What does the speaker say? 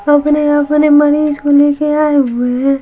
अपने अपने मरीज को लेके आए हुए हैं।